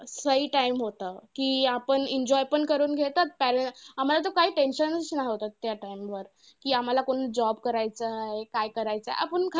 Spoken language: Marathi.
time होतं, कि आपण enjoy पण करून घेतात. parent आम्हांला तर काय tension चं नाही होतं, त्या time वर. कि आम्हांला कोणी job करायचा आहे, काय करायचा. आपण खरंच